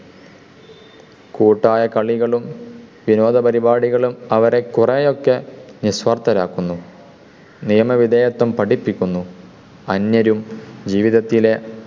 കൂട്ടായ കളികളും വിനോദ പരിപാടികളും അവരെ കുറെയൊക്കെ നിസ്വാർഥരാക്കുന്നു. നിയമവിദേയത്വം പഠിപ്പിക്കുന്നു. അന്യരും ജീവിതത്തിലെ